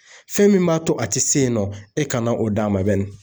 Fɛn min b'a to a tɛ se yen nɔ e kana o d'a ma bɛnni.